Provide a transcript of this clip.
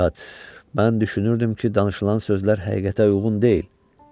Heyhat, mən düşünürdüm ki, danışılan sözlər həqiqətə uyğun deyil.